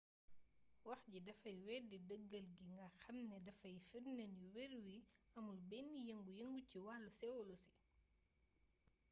wax jii dafay weddi dëggal gi nga xam ne dafay firnde ni weer wi amul benn yengu yengu ci wàllu séwolosi